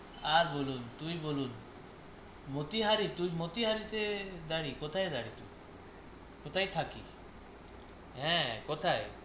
আর বলুন, তুই বলুন মতিহারি তুই মতিহারিতে বাড়ি, কোথায় বাড়ি? কোথায় থাকি? হ্যাঁ কোথায়?